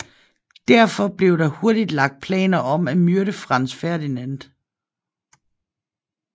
Derfor blev der hurtigt lagt planer om at myrde Franz Ferdinand